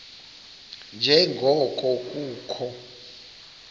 nje ngoko kukho